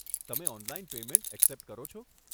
તમે online payment accept કરો છો?